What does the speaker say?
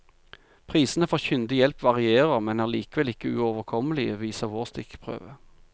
Prisene for kyndig hjelp varierer, men er likevel ikke uoverkommelige, viser vår stikkprøve.